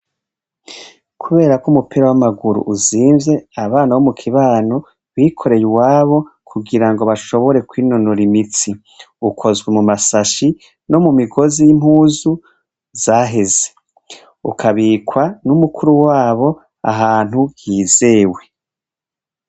Kuberako umupira w'amaguru uzimvye ,abana bo mukibano bikoreye uwabo kugira ngo bashobore kwinonora imitsi, ukozwe mumasashi no mumisozi y'impuzu zaheze, ukabikwa n'umukuru wabo ahantu hizewe.